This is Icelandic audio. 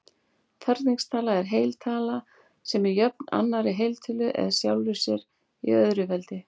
Ferningstala er heiltala sem er jöfn annarri heiltölu eða sjálfri sér í öðru veldi.